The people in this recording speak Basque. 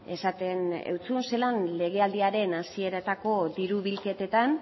esaten zizun zelan legealdiaren hasieretako diru bilketetan